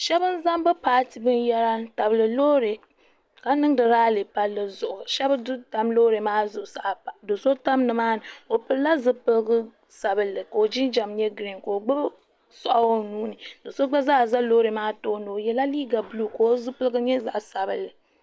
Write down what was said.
shɛbi zaŋ be paatɛ binyɛri n tabili be lori ka nɛndi rali pali zuɣ' shɛbi don tam lori maa zuɣ' saa do so tam nimaani ka zaŋ zipiɛligu sabinli ko jinjam girin ko gbabi do so gba saa za lori maa tuuni o yɛla liga buluka o zibiligu nyɛ zaɣ' sabilinli